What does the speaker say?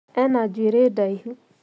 Ena njũĩri ndaihu